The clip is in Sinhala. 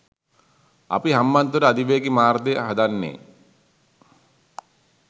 අපි හම්බන්තොට අධිවේගී මාර්ගය හදන්නේ